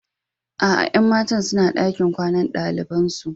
Aa, Yan matan suna dakin kwanan dalibain su.